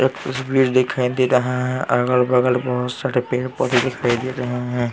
एक तस्वीर दिखाई दे रहा है अगल बगल बहुत सारे पेड पौधे दिखाई दे रहे हैं।